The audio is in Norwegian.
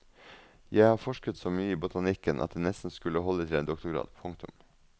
Jeg har forsket så mye i botanikken at det nesten skulle holde til en doktorgrad. punktum